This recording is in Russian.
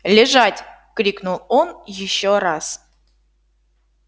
лежать крикнул он ещё раз